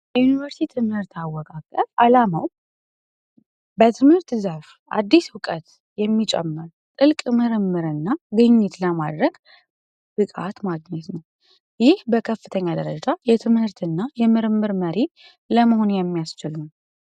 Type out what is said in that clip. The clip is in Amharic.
የዩኒቨርሲቲ ትምህርት አወቃቀር አላማው በትምህርት ዘርፍ አዲስ እውቀት የሚጨምር ጥልቅ ምርምርና ግኝት ለማድረግ ራስ ማድረግ ነው ይህ ከከፍተኛ ደረጃ የምርምር መሪ ለመሆን የሚያስችል ነው።